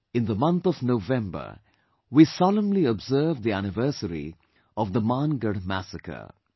In the month of November we solemnly observe the anniversary of the Mangadh massacre